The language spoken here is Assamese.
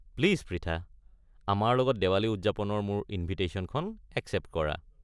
প্লিজ প্ৰিথা, আমাৰ লগত দিৱালী উদযাপনৰ মোৰ ইন্ভিটেশ্যনখন এক্সেপ্ট কৰা।